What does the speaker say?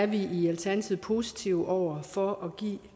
vi i alternativet positive over for at give